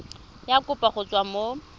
ya kopo go tswa mo